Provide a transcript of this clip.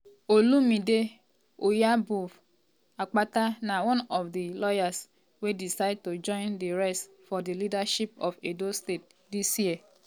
um olumide osaigbovo akpata na one of di lawyers wey decide to join di race for di leadership of edo state dis year.